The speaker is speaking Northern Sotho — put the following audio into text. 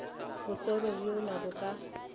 bo šoro bjona bo ka